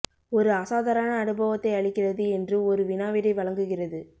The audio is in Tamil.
ஒரு அசாதாரண அனுபவத்தை அளிக்கிறது என்று ஒரு வினா விடை வழங்குகிறது